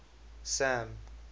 sam